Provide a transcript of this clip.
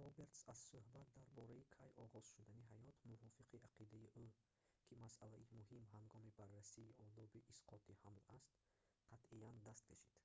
робертс аз сӯҳбат дар бораи кай оғоз шудани ҳаёт мувофиқи ақидаи ӯ ки масъалаи муҳим ҳангоми баррасии одоби исқоти ҳамл аст қатъиян даст кашид